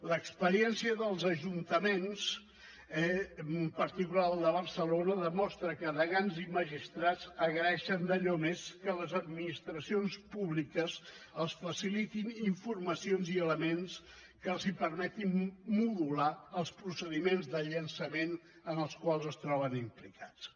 l’experiència dels ajuntaments en particular el de barcelona demostra que degans i magistrats agraeixen d’allò més que les administracions públiques els facilitin informacions i elements que els permetin modular els procediments de llançament en els quals es troben implicats